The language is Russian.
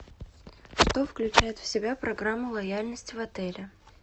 что включает в себя программа лояльности в отеле